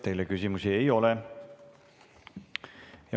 Teile küsimusi ei ole.